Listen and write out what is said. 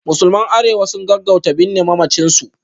Musulman Arewa su gaggauta binne mamacin su